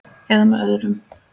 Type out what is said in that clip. . eða með öðrum